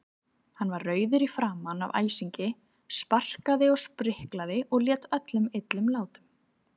Hann var rauður í framan af æsingi, sparkaði og spriklaði og lét öllum illum látum.